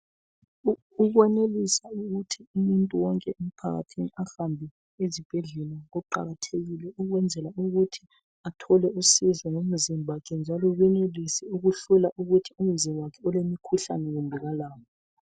Ukwenelisa ukuthi umuntu wonke emphakathini ahambe ezibhedlela. Kuqakathekile ukwenzela ukuthi athole usizo ngomzimba wakhe. Njalo benelise ukuhlola ukuthi umzimba wakhe ulemikhuhlane kumbe kalawo.